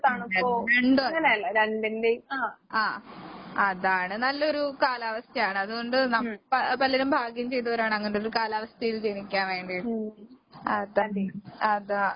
രണ്ടുമല്ല ആഹ് അതാണ് നല്ലൊരു കാലാവസ്ഥയാണ്. അതുകൊണ്ട് നം പ പലരും ഭാഗ്യം ചെയ്തവരാണങ്ങനൊരു കാലാവസ്ഥേല് ജനിക്കാൻ വേണ്ടീട്ട്. അതാണ് അതാ.